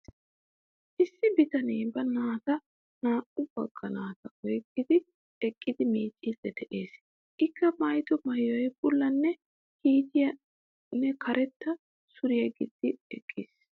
Issi bitanee ba naata naa'u ba naata oyqqidi eqqidi miicciiddi de'es. Ikka maayido maayoy bullanne kiitiyanne karetta suriya gixxi eqqis.